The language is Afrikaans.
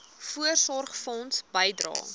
voorsorgfonds bydrae